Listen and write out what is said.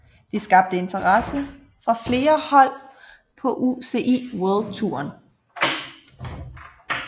Det skabte interesse fra flere hold på UCI World Touren